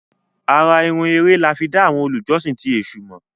àrà-irun Ere là fí dá àwọn olùjọsìn ti èsù mọ.